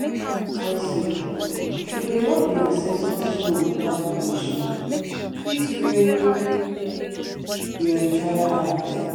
talk say if you dey disturb the ancestor stone without permission fit ruin your entire harvest.